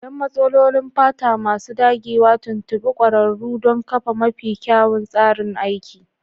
Don matsalolin fata masu dagewa, tuntuɓi ƙwararru don kafa mafi kyawun tsarin aiki.